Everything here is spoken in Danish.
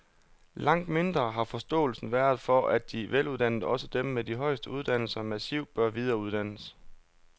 Langt mindre har forståelsen været for, at de veluddannede, også dem med de højeste uddannelser, massivt bør videreuddannes.